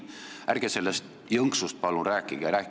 Ärge sellest jõnksust palun rääkige!